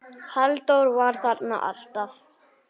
Halldór var þarna alltaf.